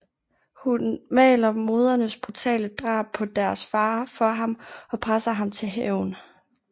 Hun maler moderens brutale drab på deres far for ham og presser ham til hævn